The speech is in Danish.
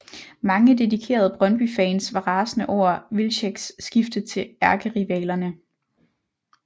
Mange dedikerede Brøndbyfans var rasende over Wilczeks skifte til ærkerivalerne